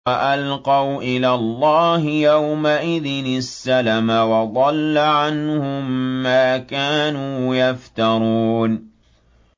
وَأَلْقَوْا إِلَى اللَّهِ يَوْمَئِذٍ السَّلَمَ ۖ وَضَلَّ عَنْهُم مَّا كَانُوا يَفْتَرُونَ